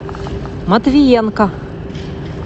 матвеенко